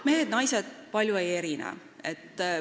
Mehed ja naised palju ei erine.